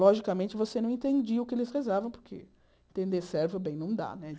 Logicamente, você não entendia o que eles rezavam, porque entender servio bem não dá, né?